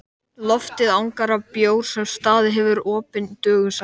Loftið angar af bjór sem staðið hefur opinn dögum saman.